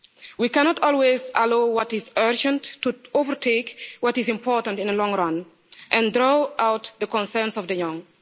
We cannot always allow what is urgent to overtake what is important in the long run and throw out the concerns of the young.